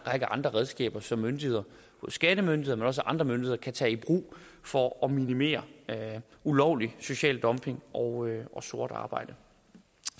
andre redskaber som myndigheder som skattemyndighederne men også andre myndigheder kan tage i brug for at minimere den ulovlige sociale dumping og sort arbejde